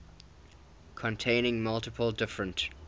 containing multiple different